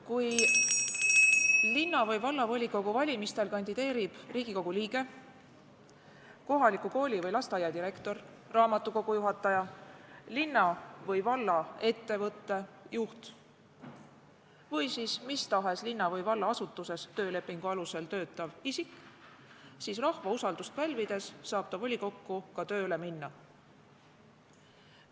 Kui linna- või vallavolikogu valimistel kandideerib Riigikogu liige, kohaliku kooli või lasteaia direktor, raamatukogu juhataja, linna- või vallaettevõtte juht või mis tahes linna- või vallaasutuses töölepingu alusel töötav isik, siis rahva usaldust pälvides saab ta volikokku ka tööle minna.